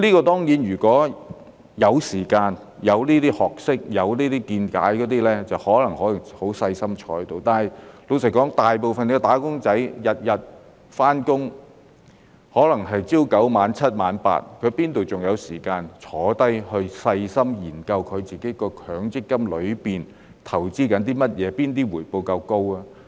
當然，如果有時間、有這些學識和見解，便可以很細心地研究，但老實說，大部分"打工仔"每天上班，可能是朝9晚7或晚 8， 哪裏還有時間坐下來細心研究自己的強積金正在投資哪些項目、哪些回報較高呢？